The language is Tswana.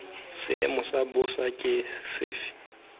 seemo sa bosa ke sefe